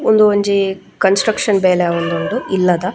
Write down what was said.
ಉಂದು ಒಂಜಿ construction ಬೇಲೆ ಆವೊಂದುಂಡು ಇಲ್ಲದ.